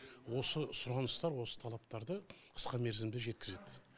осы сұраныстар осы талаптарды қысқа мерзімде жеткізед